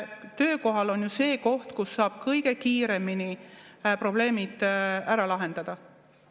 Töökoht on ju see koht, kus saab kõige kiiremini probleemid ära lahendada.